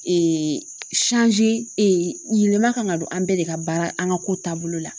yɛlɛma kan ka don an bɛɛ de ka baara an ka ko taabolo la.